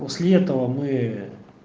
после этого мы